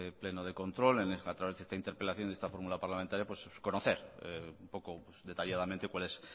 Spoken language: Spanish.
pleno de control a través de esta interpelación en esta fórmula parlamentaria conocer un poco detalladamente cuál es